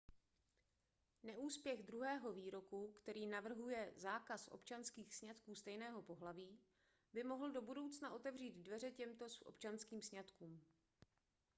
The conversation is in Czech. neúspěch druhého výroku který navrhuje zákaz občanských sňatků stejného pohlaví by mohl do budoucna otevřít dveře těmto občanským sňatkům